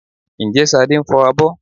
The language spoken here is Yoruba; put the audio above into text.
Ǹjẹ́ Ṣadé ń fọ abọ́?